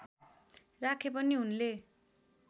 राखे पनि उनले